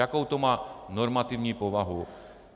Jakou to má normativní povahu?